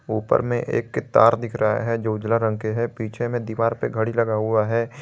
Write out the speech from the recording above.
ऊपर में एक तार दिख रहा है जो उजाला रंग के है पीछे में दीवार पर घड़ी लगा हुआ है।